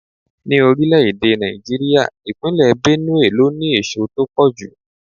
Ní orílẹ̀-èdè Nàìjíríà, ìpínlè Benue ló ní èso tó pọ̀ jù.